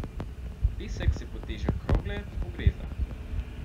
Pesek se pod težo krogle pogreza.